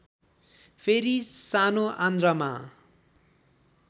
फेरि सानो आन्द्रामा